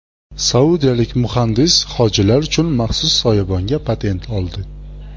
Saudiyalik muhandis hojilar uchun maxsus soyabonga patent oldi.